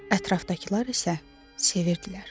Ətrafdakılar isə sevirdilər.